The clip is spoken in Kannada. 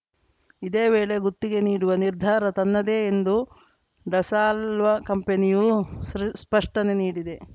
ಇದೇ ವೇಳೆ ಗುತ್ತಿಗೆ ನೀಡುವ ನಿರ್ಧಾರ ತನ್ನದೇ ಎಂದು ಡಸಾಲ್ಟ್‌ ಕಂಪನಿಯೂ ಸ್ಪಷ್ಟನೆ ನೀಡಿದೆ